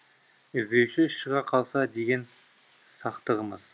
і здеуші шыға қалса деген сақтығымыз